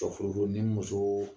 ni muso